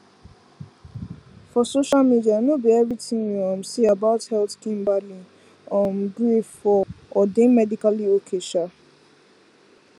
for social media no be everything you um see about health kimberly um gree for or dey medically okay um